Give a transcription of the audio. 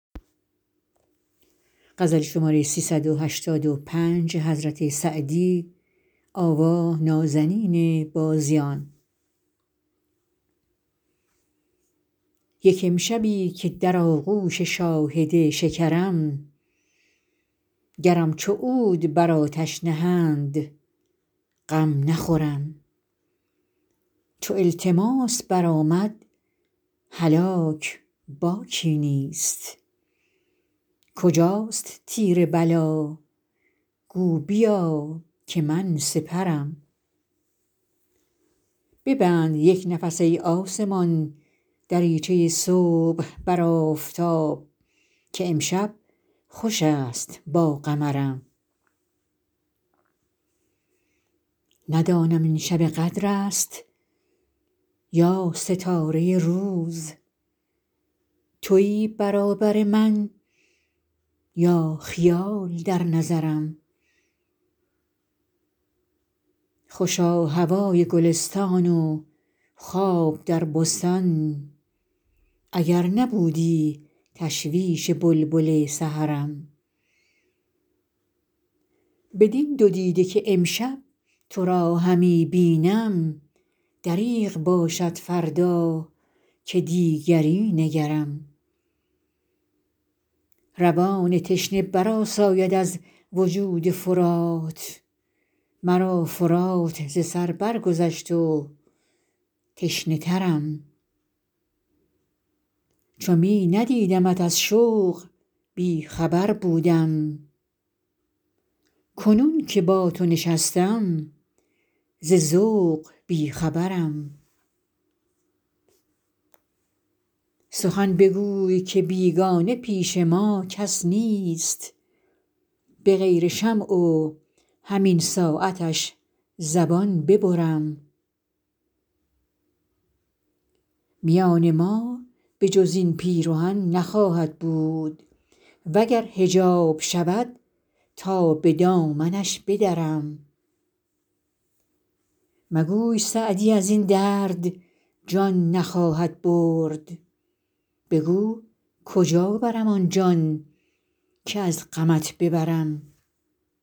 یک امشبی که در آغوش شاهد شکرم گرم چو عود بر آتش نهند غم نخورم چو التماس برآمد هلاک باکی نیست کجاست تیر بلا گو بیا که من سپرم ببند یک نفس ای آسمان دریچه صبح بر آفتاب که امشب خوش است با قمرم ندانم این شب قدر است یا ستاره روز تویی برابر من یا خیال در نظرم خوشا هوای گلستان و خواب در بستان اگر نبودی تشویش بلبل سحرم بدین دو دیده که امشب تو را همی بینم دریغ باشد فردا که دیگری نگرم روان تشنه برآساید از وجود فرات مرا فرات ز سر برگذشت و تشنه ترم چو می ندیدمت از شوق بی خبر بودم کنون که با تو نشستم ز ذوق بی خبرم سخن بگوی که بیگانه پیش ما کس نیست به غیر شمع و همین ساعتش زبان ببرم میان ما به جز این پیرهن نخواهد بود و گر حجاب شود تا به دامنش بدرم مگوی سعدی از این درد جان نخواهد برد بگو کجا برم آن جان که از غمت ببرم